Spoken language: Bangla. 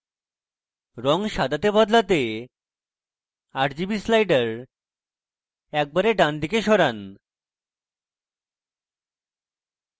rgb সাদাতে বদলাতে rgb sliders একেবারে ডানদিকে সরান